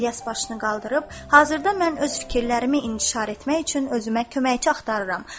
İlyas başını qaldırıb, hazırda mən öz fikirlərimi intişar etmək üçün özümə köməkçi axtarıram.